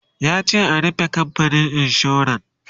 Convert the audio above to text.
yace a "rufe kamfanin insuran!"